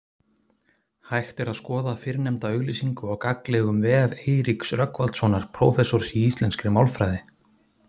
Hægt er skoða fyrrnefnda auglýsingu á gagnlegum vef Eiríks Rögnvaldssonar prófessors í íslenskri málfræði.